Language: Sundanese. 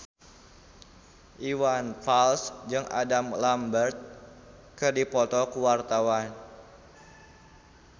Iwan Fals jeung Adam Lambert keur dipoto ku wartawan